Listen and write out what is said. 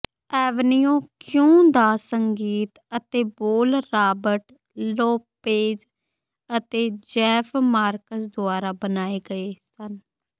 avenue Q ਦਾ ਸੰਗੀਤ ਅਤੇ ਬੋਲ ਰਾਬਰਟ ਲੋਪੇਜ਼ ਅਤੇ ਜੇਫ਼ ਮਾਰਕਸ ਦੁਆਰਾ ਬਣਾਏ ਗਏ ਸਨ